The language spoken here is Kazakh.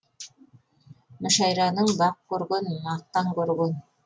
мүшәйраны бақ көрген мақтан көрген